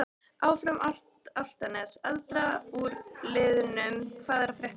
Áfram Álftanes.Eldra úr liðnum Hvað er að frétta?